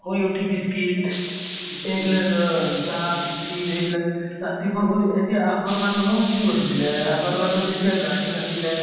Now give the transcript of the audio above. শুই উঠি বিচ্কিত এতিয়া এইবিলাক দ চাহ বিচ্কিত এইবিলাক ৰাতিপুৱা খুদ এতিয়া আগৰ মানুহো কি কৰিছিলে, এহ আগৰ মানুহ যেতিয়া গাড়ী নাছিলে